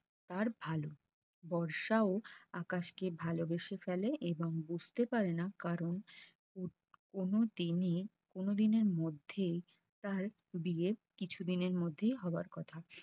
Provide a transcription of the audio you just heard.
তার ভালো বর্ষা ও আকাশকে ভালবেসে ফেলে এবং বুঝতে পারে না কারণ কোনদিনই কোনোদিনের মধ্যে তা তার বিয়ের কিছুদিনের মধ্যেই হবার কথা